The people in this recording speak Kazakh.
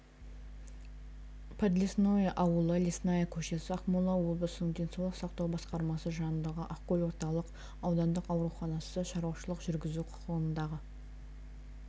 подлесное ауылы лесная көшесі ақмола облысының денсаулық сақтау басқармасы жанындағы ақкөл орталық аудандық ауруханасы шаруашылық жүргізу құқығындағы